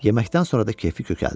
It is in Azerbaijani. Yeməkdən sonra da keyfi kökəldi.